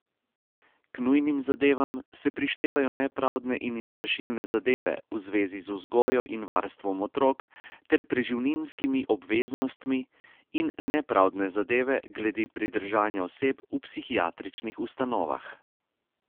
K nujnim zadevam se prištevajo nepravdne in izvršilne zadeve v zvezi z vzgojo in varstvom otrok ter preživninskimi obveznostmi in nepravdne zadeve glede pridržanja oseb v psihiatričnih ustanovah.